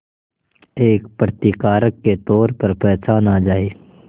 एक प्रतिकारक के तौर पर पहचाना जाए